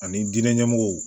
Ani diinɛ ɲɛmɔgɔw